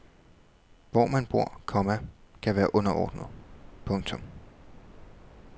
Hvor man bor, komma kan være underordnet. punktum